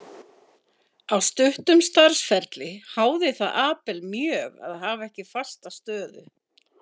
Á stuttum starfsferli háði það Abel mjög að hafa ekki fasta stöðu.